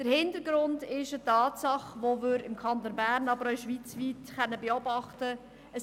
Dieser Hintergrund ist eine Tatsache, die wir im Kanton Bern, aber auch schweizweit beobachten können.